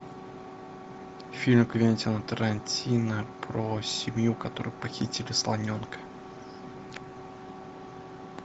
фильм квентина тарантино про семью которые похитили слоненка